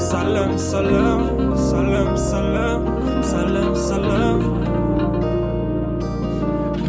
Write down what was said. сәлем сәлем сәлем сәлем сәлем сәлем